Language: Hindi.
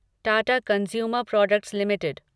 Tata consumer products limited